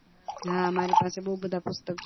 હા મારી પાસે બૌ બધા પુસ્તક છે